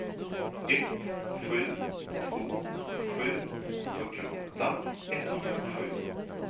ett sju två sju fyrtioåtta etthundrasju